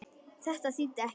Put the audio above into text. Þetta þýddi ekkert.